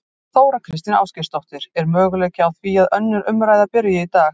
Þóra Kristín Ásgeirsdóttir: Er möguleiki á því að önnur umræða byrji í dag?